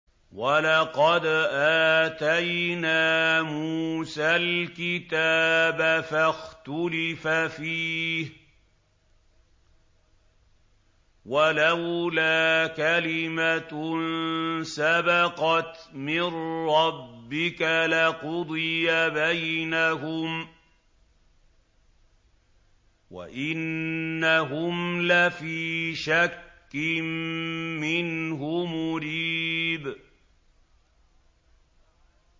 وَلَقَدْ آتَيْنَا مُوسَى الْكِتَابَ فَاخْتُلِفَ فِيهِ ۗ وَلَوْلَا كَلِمَةٌ سَبَقَتْ مِن رَّبِّكَ لَقُضِيَ بَيْنَهُمْ ۚ وَإِنَّهُمْ لَفِي شَكٍّ مِّنْهُ مُرِيبٍ